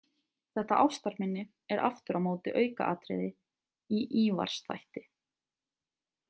Þetta ástarminni er aftur á móti aukaatriði í Ívars þætti.